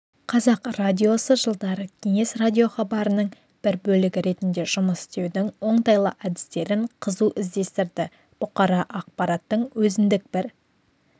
қазақ радиосы жылдары кеңес радиохабарының бір бөлігі ретінде жұмыс істеудің оңтайлы әдістерін қызу іздестірді бұқаралық ақпараттың өзіндік бір